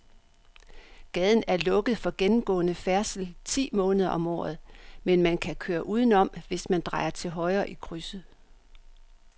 Gaden er lukket for gennemgående færdsel ti måneder om året, men man kan køre udenom, hvis man drejer til højre i krydset.